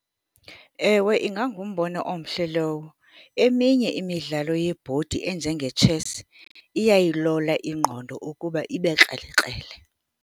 Ewe, ingangumbono omhle lowo. Eminye imidlalo yeebhodi enjengetshesi iyayilola ingqondo ukuba ibe krelekrele.